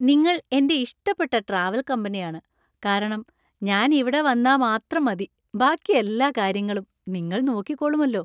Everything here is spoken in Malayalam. നിങ്ങൾ എന്‍റെ ഇഷ്ടപ്പെട്ട ട്രാവൽ കമ്പനിയാണ്, കാരണം ഞാൻ ഇവിടെ വന്നാ മാത്രം മതി. ബാക്കി എല്ലാ കാര്യങ്ങളും നിങ്ങൾ നോക്കിക്കോളുമല്ലോ.